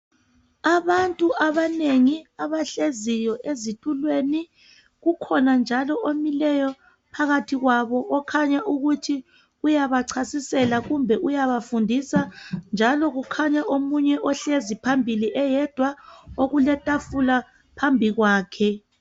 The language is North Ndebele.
Abantu abanengi abahleziyo ezitulweni kukhona njalo omileyo phakathi kwabo okhanya ukuthi uyabachasisela kumbe uyabafundisa njalo kukhanya omunye ohlezi phambili eyedwa okuletafula phambi kwakhe.